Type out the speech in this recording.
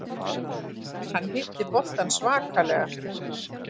Hann hitti boltann svakalega.